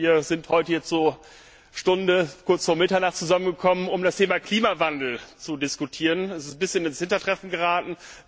Wir sind heute hier zur Stunde kurz vor Mitternacht zusammengekommen, um über das Thema Klimawandel zu diskutieren. Das ist ein bisschen ins Hintertreffen geraten.